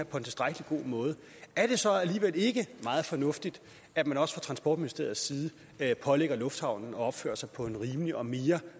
på en tilstrækkelig god måde er det så alligevel ikke meget fornuftigt at man også fra transportministeriets side pålægger lufthavnen at opføre sig på en rimelig og mere